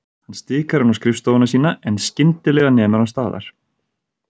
Hann stikar inn á skrifstofuna sína en skyndi- lega nemur hann staðar.